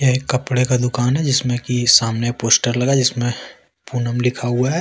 एक कपड़े का दुकान है जिसमें की सामने पोस्टर लगा जिसमें पुनम लिखा हुआ है।